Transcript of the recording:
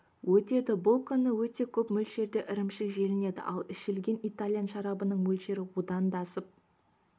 өтеді бұл күні өте көп мөлшерде ірімшік желінеді ал ішілген итальян шарабының мөлшері одан даасып